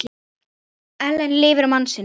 Ellen lifir mann sinn.